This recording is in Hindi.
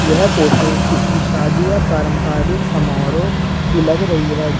यह फोटो किसी शादियां पारंपरिक समारोह की लग रही है जहाँ--